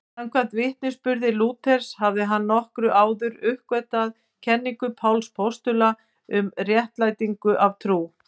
Samkvæmt vitnisburði Lúthers hafði hann nokkru áður enduruppgötvað kenningu Páls postula um réttlætingu af trú.